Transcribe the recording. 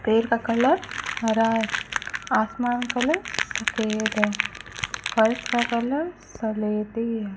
पेड़ का कलर हरा आसमान का कलर सफेद है फर्श का कलर स्लेटी है।